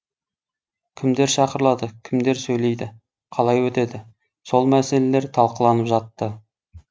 кімдер шақырылады кімдер сөйлейді қалай өтеді сол мәселелер талқыланып жатты